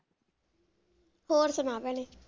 ਹੋਰ ਸੁਣਾ ਭੈਣੇ?